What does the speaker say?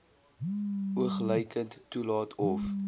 oogluikend toelaat of